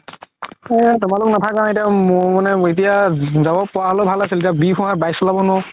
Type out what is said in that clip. এই তোমালোক নাথাকা এতিয়া মোৰ মানে এতিয়া যাব পাৰা হ'লে ভাল আছিল bike চলাব নোৱাৰো